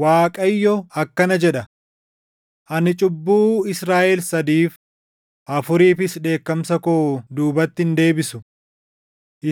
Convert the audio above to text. Waaqayyo akkana jedha: “Ani cubbuu Israaʼel sadiif, afuriifis dheekkamsa koo duubatti hin deebisu.